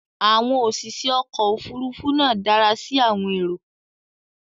Àwọn òṣìṣẹ́ ọkọ̀ Òfurufú náà dára sí àwọn èrò